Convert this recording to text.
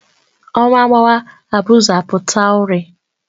Ọnwa gbawa abuzu apụta urị